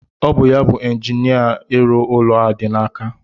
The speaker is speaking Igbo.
Ọ bụ ya bu injinia ịrụ ụlọ a dị n'aka.